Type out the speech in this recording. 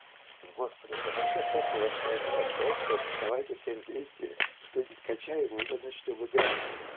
господи да вообще похуй во что играть просто давайте все вместе что-нибудь скачаем и уже начнём играть